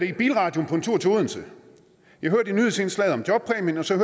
i bilradioen på en tur til odense jeg hørte i nyhedsindslaget om jobpræmien og så